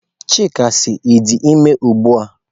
Chika si, I di ime ugbua?